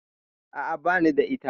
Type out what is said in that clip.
A'a, bani da ita.